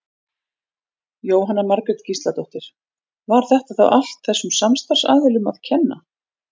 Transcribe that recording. Jóhanna Margrét Gísladóttir: Var þetta þá allt þessum samstarfsaðilum að kenna?